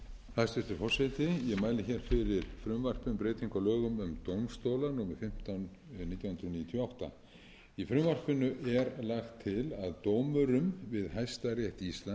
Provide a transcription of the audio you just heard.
á lögum um dómstóla númer fimmtán nítján hundruð níutíu og átta í frumvarpinu er lagt til að dómurum við hæstarétt íslands verði fjölgað